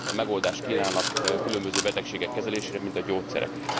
megoldást kínálnak különböző betegségek kezelésére, mint a gyógyszerek.